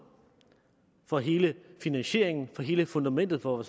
for hele finansieringen for hele fundamentet for